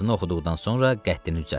Yazını oxuduqdan sonra qəddini düzəltdi.